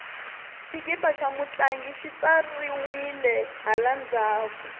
xikipa xa mutlangi xi tsariwile hala ndzhaku